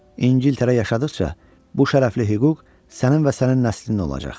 İngiltərə yaşadığıqca bu şərəfli hüquq sənin və sənin nəslin olacaq.